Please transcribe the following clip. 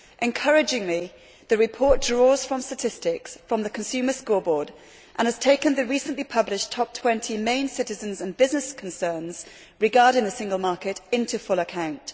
Encouragingly, the report draws from statistics from the Consumer Scoreboard and has taken the recently published top 20 main citizens' and business concerns regarding the single market into full account.